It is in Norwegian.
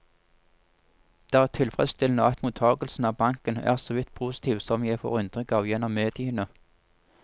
Det er tilfredsstillende at mottagelsen av banken er såvidt positiv som jeg får inntrykk av gjennom mediene.